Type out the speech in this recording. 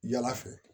Yala fɛ